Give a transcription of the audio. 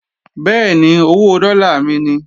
Bẹ́ẹ̀ni, owó dọ́là mi ni